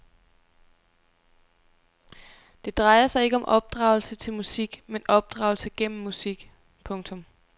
Det drejer sig ikke om opdragelse til musik men opdragelse gennem musik. punktum